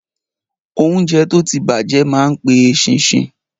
Óúnjẹ tó ti bàjẹ́ ma pe eṣinṣin.